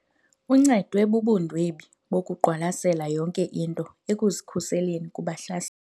Uncedwe bubundwebi bokuqwalasela yonke into ekuzikhuseleni kubahlaseli.